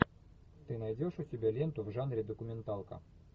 ты найдешь у себя ленту в жанре документалка